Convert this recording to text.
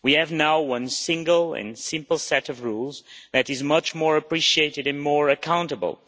We have now one single and simple set of rules that is much more appreciated and more accountable.